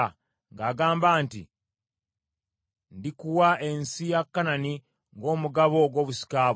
ng’agamba nti, “Ndikuwa ensi ya Kanani, ng’omugabo, ogw’obusika bwo.”